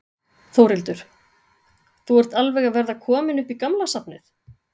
Þórhildur: Þú ert alveg að verða kominn upp í gamla safnið?